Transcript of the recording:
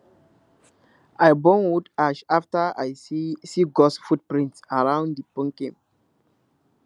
i burn wood ash after i see see ghost footprints around di pumpkin